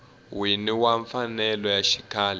wini wa mfanelo ya xikhale